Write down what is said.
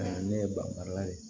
ne ye bangala de ye